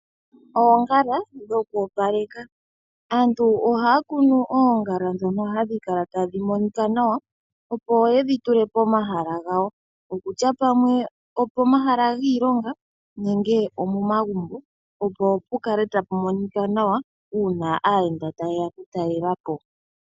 Oongala dhoku opaleka . Aantu ohaa kunu oongala dhono hadhikala tadhi monika nawa opo yedhi tule pomahala gawo. Okusha pamwe opo omahala giilonga nenge omo magumbo opo pukale tapu monika nawa uuna aayenda tayeya oku talelapo.